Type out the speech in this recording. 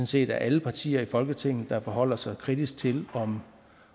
set er alle partier i folketinget der forholder sig kritisk til om